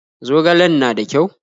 Zogalen na da ƙyau?